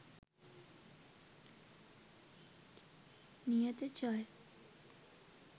niyatha jaya